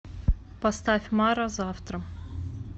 поставь мара завтра